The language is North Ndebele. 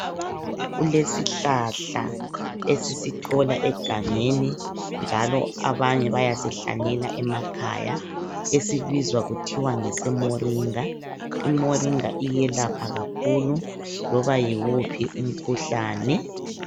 Kulesihlahla esisithola egangeni njalo abanye bayasihlanyela emakhaya esibizwa kuthiwa ngesemoringa. Imoringa iyelapha kakhulu loba yiwuphi umkhuhlane.